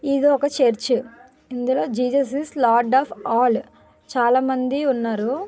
ఏదో ఒక చర్చ్ ఇందులో జీసస్ లార్డ్ ఆఫ్ ఆల్ చాలామంది ఉన్నారు